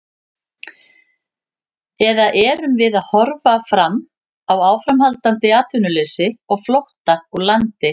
Eða erum við að horfa fram á áframhaldandi atvinnuleysi og flótta úr landi?